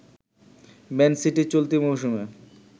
man City চলতি মৌসুমে